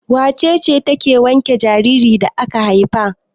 Wace ce take wanke jaririn da aka haifa?